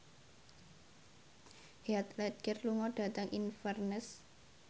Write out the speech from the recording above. Heath Ledger lunga dhateng Inverness